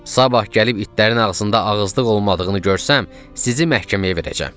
Sabah gəlib itlərin ağzında ağızlıq olmadığını görsəm, sizi məhkəməyə verəcəm.